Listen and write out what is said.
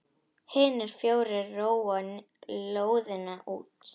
Hinir fjórir róa lóðina út.